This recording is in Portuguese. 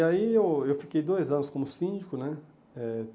E aí eu eu fiquei dois anos como síndico, né? Eh